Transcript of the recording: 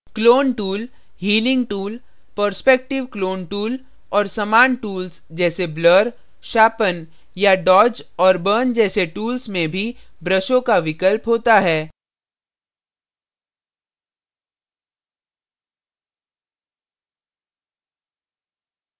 clone tool clone tool healing tool healing tool perspective clone tool perspective clone tool और समान tools जैसे blur blur sharpen sharpen या dodge dodge और burn burn जैसे tools में भी ब्रशों का विकल्प होता है